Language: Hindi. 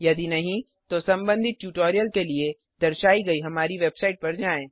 यदि नहीं तो संबधित ट्यूटोरियल के लिए दर्शाई गयी हमारी वेबसाइट पर जाएँ